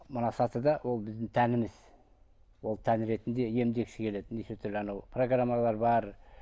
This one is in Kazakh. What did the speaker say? мына сатыда ол біздің тәніміз ол тән ретінде емдегісі келелі неше түрлі анау программалар бар